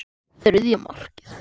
Þriðja markið.